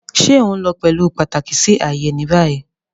Ṣe o nlo pẹlu pataki si aaye ni bayi?